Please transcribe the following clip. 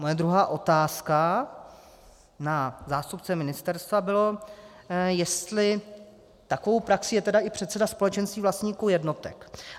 Moje druhá otázka na zástupce ministerstva byla, jestli takovou praxí je tedy i předseda společenství vlastníků jednotek.